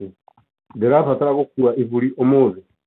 ndirafataria gũkuua ibũrĩ ũmũthĩ?